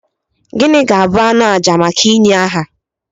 Gịnị ga-abụ anụ àjà maka ịnye aha?